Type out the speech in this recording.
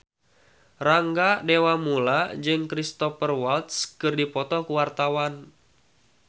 Rangga Dewamoela jeung Cristhoper Waltz keur dipoto ku wartawan